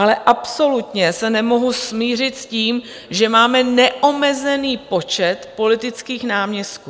Ale absolutně se nemohu smířit s tím, že máme neomezený počet politických náměstků.